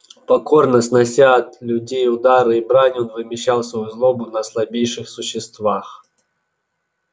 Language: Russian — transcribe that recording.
покорно снося от людей удары и брань он вымещал свою злобу на слабейших существах